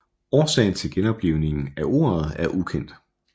Årsagen til genoplivningen af ordet er ukendt